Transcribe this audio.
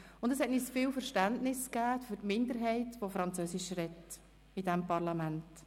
Das hat uns viel Verständnis für die Minderheit, die in diesem Parlament französisch spricht, vermittelt.